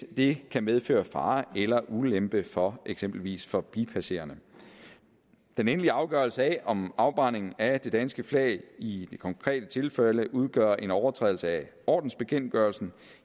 det kan medføre fare eller ulempe for eksempelvis forbipasserende den endelige afgørelse af om en afbrænding af det danske flag i det konkrete tilfælde udgør en overtrædelse af ordensbekendtgørelsen